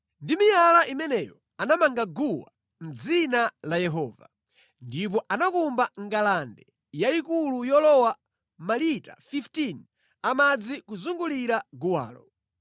Ndi miyala imeneyo anamanga guwa mʼdzina la Yehova, ndipo anakumba ngalande yayikulu yolowa malita 15 a madzi kuzungulira guwalo.